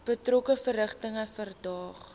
betrokke verrigtinge verdaag